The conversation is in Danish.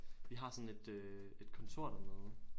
Vi har sådan et øh et kontor dernede